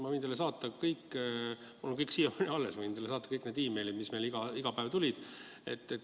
Ma võin teile saata kõik meilid, mis meile iga päev tulid, mul on kõik siiamaani alles.